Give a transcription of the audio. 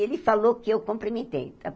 Ele falou que eu cumprimentei. Tá